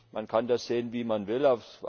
Man kann das sehen, wie man will.